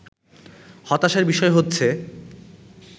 হতাশার বিষয় হচ্ছে